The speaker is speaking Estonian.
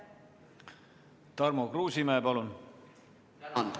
Tarmo Kruusimäe, palun!